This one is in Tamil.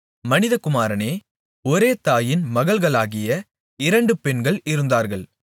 மனிதகுமாரனே ஒரே தாயின் மகள்களாகிய இரண்டு பெண்கள் இருந்தார்கள்